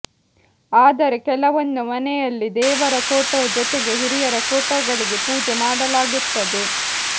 ಆದ್ರೆ ಕೆಲವೊಂದು ಮನೆಯಲ್ಲಿ ದೇವರ ಫೋಟೋ ಜೊತೆಗೆ ಹಿರಿಯರ ಫೋಟೋಗಳಿಗೂ ಪೂಜೆ ಮಾಡಲಾಗುತ್ತದೆ